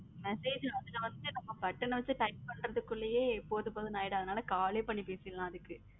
Message first first button ஆ வைச்சு type பன்றதுகுலே போதும் போதும் ஆகிரும். அதுனால call லே பண்ணி பேசிரலாம்